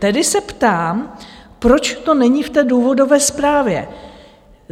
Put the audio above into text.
Tedy se ptám, proč to není v té důvodové zprávě?